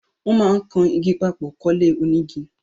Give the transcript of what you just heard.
Wón máà ń kan igi papò kólé onígi